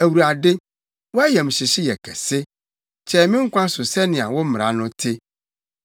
Awurade, wʼayamhyehye yɛ kɛse; kyɛe me nkwa so sɛnea wo mmara no te.